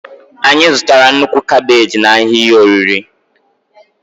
Anyị zụtara nnukwu kabeji n'ahịa ihe oriri.